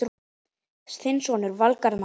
Þinn sonur, Valgarð Már.